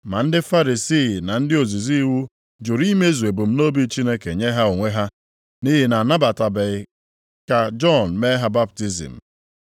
Ma ndị Farisii na ndị ozizi iwu jụrụ imezu ebumnobi Chineke nye ha onwe ha, nʼihi na ha anabataghị ka Jọn mee ha baptizim.)